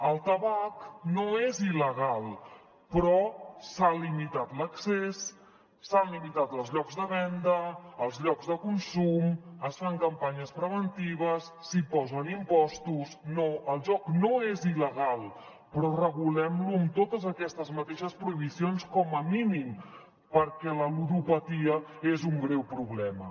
el tabac no és il·legal però se n’ha limitat l’accés se n’han limitat els llocs de venda els llocs de consum es fan campanyes preventives s’hi posen impostos no el joc no és il·legal però regulem lo amb totes aquestes mateixes prohibicions com a mínim perquè la ludopatia és un greu problema